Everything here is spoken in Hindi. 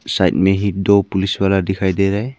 साइड में ही दो पुलिस वाला दिखाई दे रहा है।